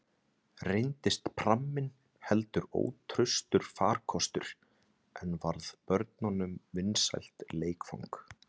Reyndist pramminn heldur ótraustur farkostur, en varð börnunum vinsælt leikfang.